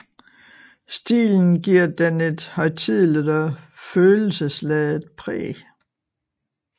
Stilen giver den et højtideligt og følelsesladet præg